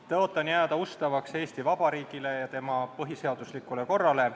Tõotan jääda ustavaks Eesti Vabariigile ja tema põhiseaduslikule korrale.